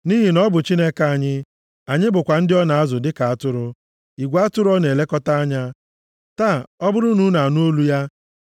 nʼihi na ọ bụ Chineke anyị anyị bụkwa ndị ọ na-azụ dịka atụrụ, igwe atụrụ ọ na-elekọta anya. Taa, ọ bụrụ na unu anụ olu ya,